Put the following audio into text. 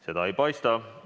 Seda ei paista.